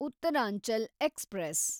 Uttaranchal express